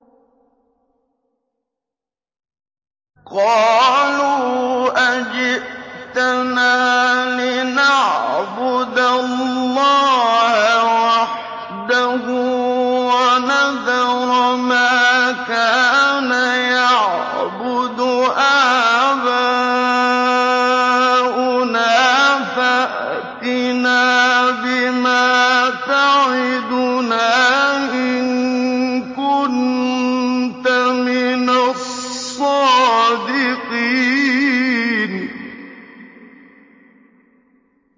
قَالُوا أَجِئْتَنَا لِنَعْبُدَ اللَّهَ وَحْدَهُ وَنَذَرَ مَا كَانَ يَعْبُدُ آبَاؤُنَا ۖ فَأْتِنَا بِمَا تَعِدُنَا إِن كُنتَ مِنَ الصَّادِقِينَ